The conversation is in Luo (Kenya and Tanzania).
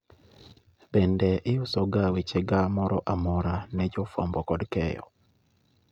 Bende iuso wechega moro amora ne jo fwambo kod keyo